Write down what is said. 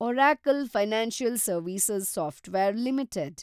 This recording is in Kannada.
Oracle financial service software limited